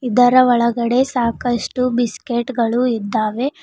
ಇದರ ಒಳಗಡೆ ಸಾಕಷ್ಟು ಬಿಸ್ಕೆಟ್ ಗಳು ಇದ್ದಾವೆ.